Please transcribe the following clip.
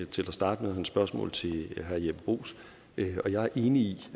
til at starte med og hans spørgsmål til herre jeppe bruus jeg er enig i